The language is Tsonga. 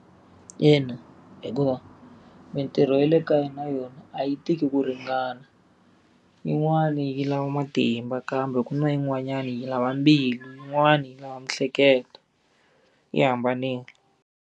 Yena hikuva mitirho ya le kaya na yona a yi tiki ku ringana. Yin'wani yi lava matimba kambe ku na yin'wanyani yi lava mbilu, yin'wani yi lava miehleketo. Yi hambanile.